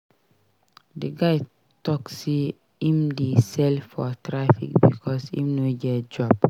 The guy tok sey im dey sell for traffic because im no get job.